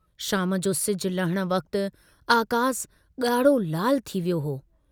शाम जो सिजु लहण वक्त आकासु गाढ़ो लालु थी वियो हो।